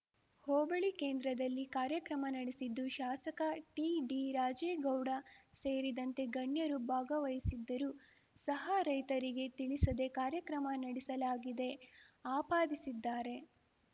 ಹೋಬಳಿ ಕೇಂದ್ರದಲ್ಲಿ ಕಾರ್ಯಕ್ರಮ ನಡೆಸಿದ್ದು ಶಾಸಕ ಟಿಡಿರಾಜೇಗೌಡ ಸೇರಿದಂತೆ ಗಣ್ಯರು ಭಾಗವಹಿಸಿದ್ದರೂ ಸಹ ರೈತರಿಗೆ ತಿಳಿಸದೇ ಕಾರ್ಯಕ್ರಮ ನಡೆಸಲಾಗಿದೆ ಆಪಾದಿಸಿದ್ದಾರೆ